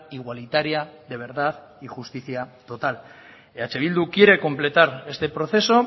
igualitaria de verdad y justicia total eh bildu quiere completar este proceso